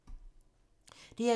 DR2